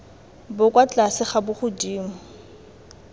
bo kwa tlase ga bogodimo